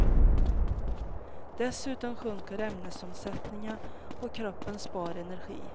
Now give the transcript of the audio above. Dessutom sjunker ämnesomsättningen och kroppen spar energi.